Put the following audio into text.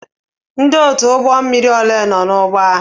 Ndị otu ụgbọ mmiri ole nọ n'ụgbọ ahụ?